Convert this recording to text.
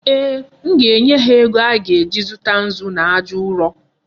Ee, m ga-enye ha ego a ga-eji zụta nzu na aja ụrọ.